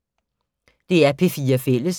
DR P4 Fælles